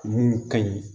Mun ka ɲi